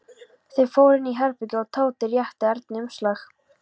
Þeir fóru inn í herbergi og Tóti rétti Erni umslag.